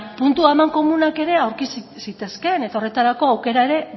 puntu amankomunak aurki zitezkeen eta horretarako aukera ere